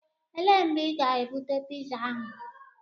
Elee mgbe ị ga-ebute piza ahu?